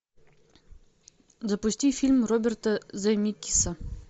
запусти фильм роберта земекиса